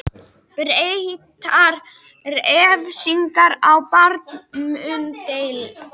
Breyttar refsingar í barnauppeldi